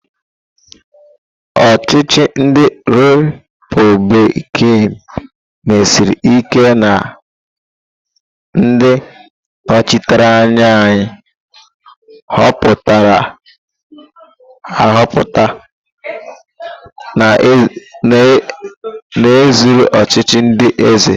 Ochichi ndi republikan mesiri ike na ndị nnọchiteanya a họpụtara ahọpụta, na-ezere ọchịchị ndi eze.